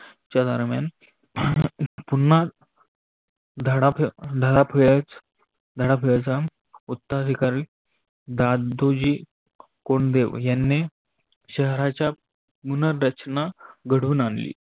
च्या दरम्यान पुन्हा धडाफेज धडाफेजाम उतर अधिकारी दादुजी कोन्डे या शहराच्या पुनर्रचना घडून आनली.